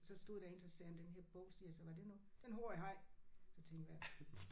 Så stod der en så sagde han den her bog siger jeg så var det noget den har jeg haft så tænkte jeg hvad